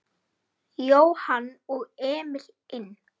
Jóhann og Emil inn?